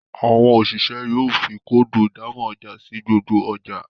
Àwọn oṣiṣẹ yóò fí Kóòdù ìdámọ̀ ọjà sí gbogbo ọjà